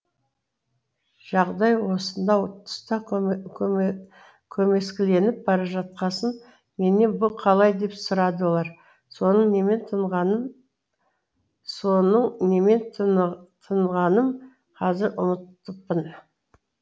жағдай осынау тұста көмескіленіп бара жатқасын менен бұ қалай деп сұрады олар соның немен тынғанын қазір ұмытыппын